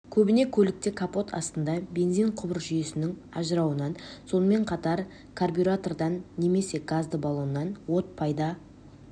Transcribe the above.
көбіне көлікте капот астында бензин құбыр жүйесінің ажырауынан сонымен қатар карбюратордан немесе газды балоннан от пайда